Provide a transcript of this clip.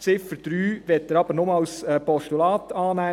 Die Ziffer 3 möchte er aber nur als Postulat annehmen.